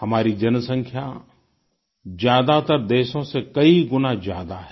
हमारी जनसँख्या ज़्यादातर देशों से कई गुना ज्यादा है